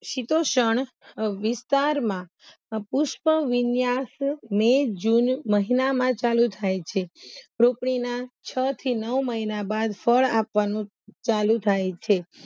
વિસ્તારમાં અ પુષ્પવિન્યાસ મેં જુન મહિનામાં ચાલુ થાય છે રોપણીના છ થી નવ મહિના બાદ ફળ આપવાનું ચાલુ થાય છે